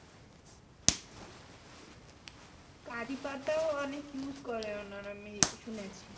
কারিপাতা ও অনেক use করে ওনারা আমি শুনেছি